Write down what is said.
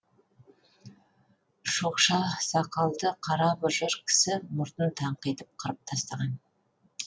шоқша сақалды қара бұжыр кісі мұртын таңқитып қырып тастаған